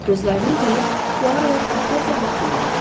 Gözlərini qıyıb Puaro-ya diqqətlə baxmağa başladı.